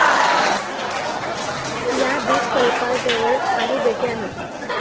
या द्विपकल्पाजवळ काही बेटे आहेत.